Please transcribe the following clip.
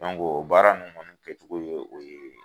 O baara nunnu kɛcogo ye o ye.